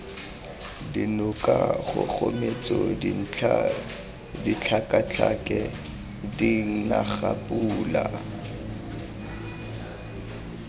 dinoka kgogometso dintlha ditlhakatlhake dinagapula